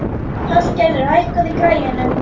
Hallgerður, hækkaðu í græjunum.